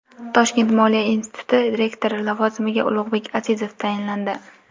Toshkent moliya instituti rektori lavozimiga Ulug‘bek Azizov tayinlandi.